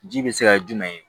Ji bɛ se ka kɛ jumɛn ye